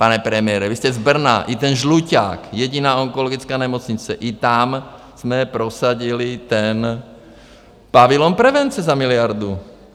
Pane premiére, vy jste z Brna, i ten Źluťák, jediná onkologická nemocnice, i tam jsme prosadili ten pavilon prevence za miliardu.